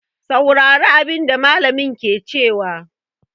Saurari abin da mallamin ke cewa!